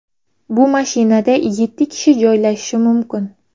Bu mashinada yeti kishi joylashishi mumkin.